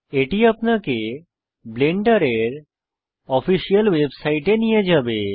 এটি আপনাকে ব্লেন্ডারের অফিসিয়াল ওয়েবসাইটে নিয়ে যাবে